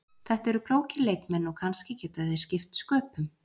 Þetta eru klókir leikmenn og kannski geta þeir skipt sköpum.